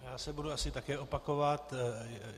Já se budu asi také opakovat.